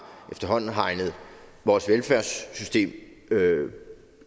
hegnet vores velfærdssystem